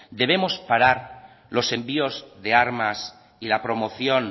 debemos parar los envíos de armas y la promoción